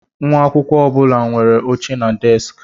Nwa akwụkwọ ọ bụla nwere oche na deskị.